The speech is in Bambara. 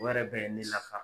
O yɛrɛ bɛɛ ye ne lafa.